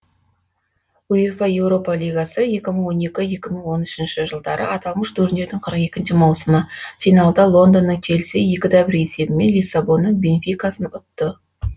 уефа еуропа лигасы екі мың он екі екі мың он үшіншы жылдары аталмыш турнирдің қырық екінші маусымы финалда лондонның челсиі екіде бір есебімен лиссабонның бенфикасын ұтты